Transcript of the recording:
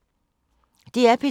DR P2